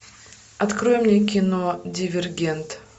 открой мне кино дивергент